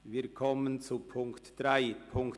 Wir kommen zur Ziffer 3.